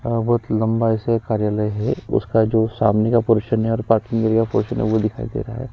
बहुत लंबाई से कार्यालय है उसका जो सामने का पोरशन है और पार्किंग एरिया पोरशन है वो दिखाई दे रहा है।